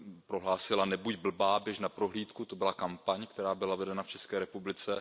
Prohlásila Nebuď blbá, běž na prohlídku! to byla kampaň, která byla vedena v České republice.